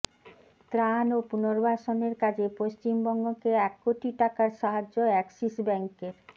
ত্রাণ ও পুনর্বাসনের কাজে পশ্চিমবঙ্গকে এক কোটি টাকার সাহায্য অ্যাক্সিস ব্যাঙ্কের